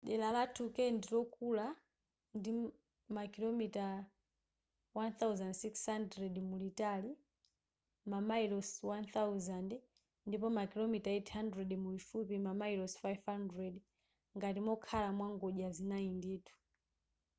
dera la turkey ndilokula ndi makilomita 1600 mulitali mamayilosi 1,000 ndipo makilomita 800 mulifupi mamayilosi 500 ngati mokhala mwa ngodya zinayi ndithu